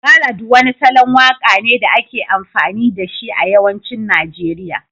Ballad wani salon waka ne da ake amfani da shi a yawancin Najeriya